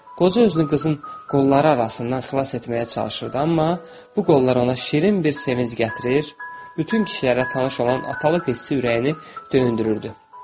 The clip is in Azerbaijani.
Qoca özünü qızın qolları arasından xilas etməyə çalışırdı, amma bu qollar ona şirin bir sevinc gətirir, bütün kişilərə tanış olan atalıq hissi ürəyini dündürürdü.